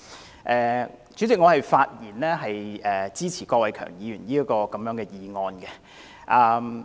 代理主席，我發言支持郭偉强議員的議案。